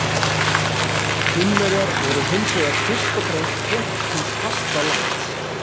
Kínverjar voru hins vegar fyrst og fremst fólk hins fasta lands.